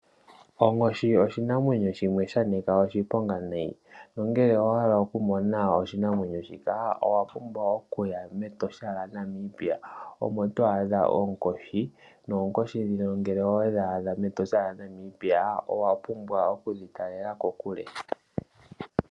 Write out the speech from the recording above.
Onkoshi oshinamwenyo shimwe shanika oshiponga nayi. Ngele owa hala okumona oshinamwenyo shika, owa pumbwa oku ya mEtosha lyaNamibia, omo todhi adha, no wapumbwa oku dhikala kokule.